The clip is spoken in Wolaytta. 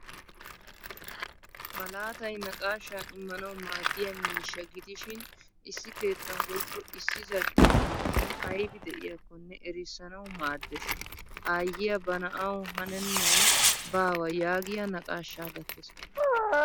Malaatay naaqaashshaa immanawu maadiyaa miishshaa gidishin issi keettan woykko issi zal'ee man'iyan aybi de'iyakkonne erissanawu maaddees. Aayiya ba na'awu hanenay baawa yaagiyaa naaqashshaa gattees.